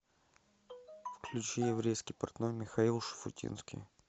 включи еврейский портной михаил шуфутинский